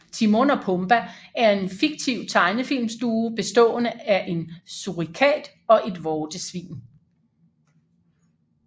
Timon og Pumba er en fiktiv tegnefilmsduo bestående af en surikat og et vortesvin